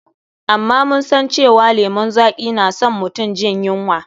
Amma mun san cewa lemun zaƙi na san mutum jin yunwa.